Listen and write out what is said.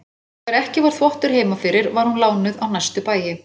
Þegar ekki var þvottur heima fyrir var hún lánuð á næstu bæi.